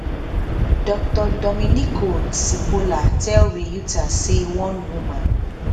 dr domenico cipolla tell reuters say one woman